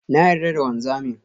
Na yarda da wanzamin.